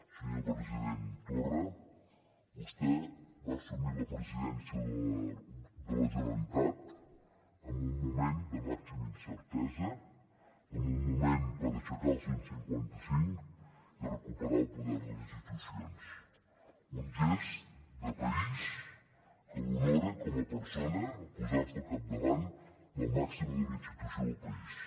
senyor president torra vostè va assumir la presidència de la generalitat en un moment de màxima incertesa en un moment per aixecar el cent i cinquanta cinc i recuperar el poder de les institucions un gest de país que l’honora com a persona posar se al capdavant de la màxima institució del país